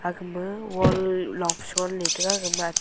agama wall longfe sonley tega agama--